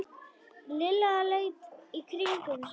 Lilla leit í kringum sig.